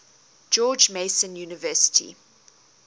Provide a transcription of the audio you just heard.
george mason university